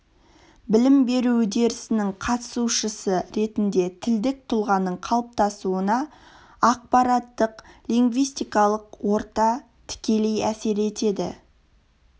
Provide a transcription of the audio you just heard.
білім беру үдерісінің қатысушысы ретінде тілдік тұлғаның қалыптасуына ақпараттық-лингвистикалық орта тікелей әсер етеді